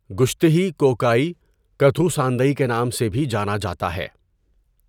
گُشتھی کو کائی کتھو ساندئی کے نام سے بھی جانا جاتا ہے۔